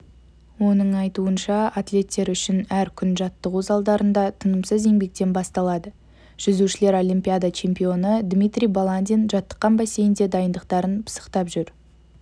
оның айтуынша атлеттер үшін әр күн жаттығу залдарында тынымсыз еңбектен басталады жүзушілер олимпиада чемпионы дмитрий баландин жаттыққан бассейнде дайындықтарын пысықтап жүр